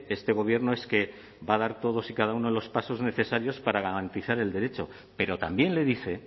este gobierno es que va a dar todos y cada uno de los pasos necesarios para garantizar el derecho pero también le dice